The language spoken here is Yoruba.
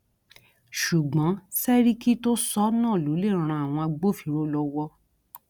ṣùgbọn sẹríkì tó sọ ọ náà ló lè ran àwọn agbófinró lọwọ